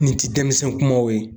Nin ti denmisɛnw kumaw ye.